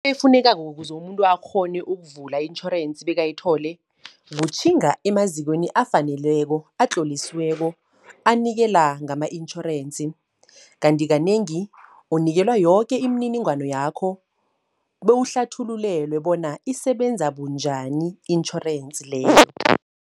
Efunekako ukuze umuntu akghone ukuvula i-intjhorensi bekayithole. Kutjhinga emazikweni afaneleko, atlolisiweko, anikela ngama-intjhorensi. Kanti kanengi unikelwa yoke imininingwano yakho, bewuhlathululelwe bona isebenza bunjani i-intjhorensi leyo.